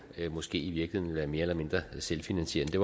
måske i virkeligheden vil være mere eller mindre selvfinansierende det